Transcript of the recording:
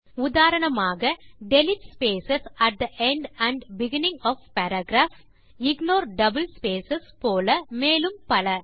உதாரணமாக delete space at the end and beginning of paragraph ignore double space போல மேலும் பல